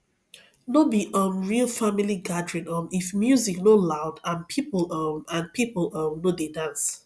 no be um real family gathering um if music no loud and people um and people um no dey dance